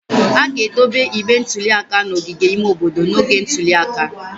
A ga-edobe igbe ntụli aka n'ogige ime obodo n'oge ntuli aka.